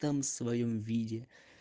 там в своём виде